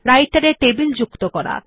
রাইটের এ টেবিল যুক্ত করা